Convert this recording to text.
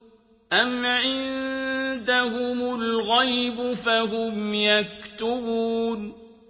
أَمْ عِندَهُمُ الْغَيْبُ فَهُمْ يَكْتُبُونَ